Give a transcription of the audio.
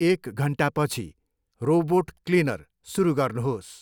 एक घन्टापछि robot cleaner सुरु गर्नुहोस्।